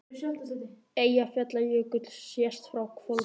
Eyjafjallajökull sést frá Hvolsvelli.